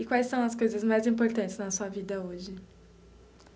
E quais são as coisas mais importantes na sua vida hoje?